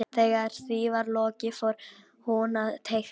Þegar því var lokið fór hún að teikna.